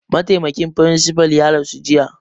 Mataimakin firinsifa ya rasu jiya